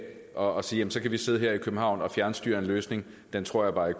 og sige at så kan vi sidde her i københavn og fjernstyre en løsning tror jeg